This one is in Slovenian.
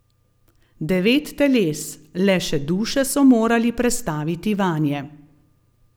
Devet teles, le še duše so morali prestaviti vanje.